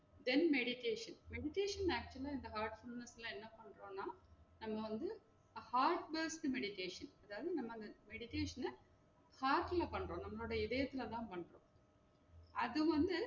Then meditation, meditation actual ஆ இந்த heartfullness ல என்னப்பண்றோனா நம்ம வந்து heartness meditation அதாவுது நம்ம meditation அ heart ல பண்றோம், உங்களோட இதயத்துல தான் பண்றோம் அது வந்து